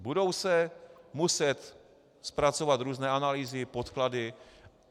Budou se muset zpracovat různé analýzy, podklady.